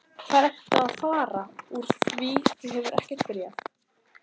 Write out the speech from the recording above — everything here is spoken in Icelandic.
Hvert ertu að fara úr því þú hefur ekkert bréf?